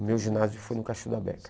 O meu ginásio foi no